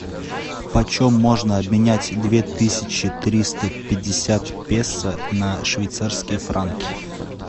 почем можно обменять две тысячи триста пятьдесят песо на швейцарские франки